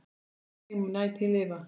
Minning þín mun ætíð lifa.